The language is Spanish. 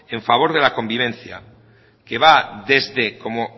en favor de la convivencia que va desde como